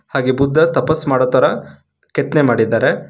ಹಾಗೆ ಬುದ್ಧ ತಪಸ್ ಮಾಡುತ್ತಾರ ಕೆತ್ನೆ ಮಾಡಿದ್ದಾರೆ.